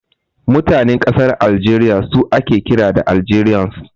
Mutanen ƙasar Aljeriya su ake kira da Algerians.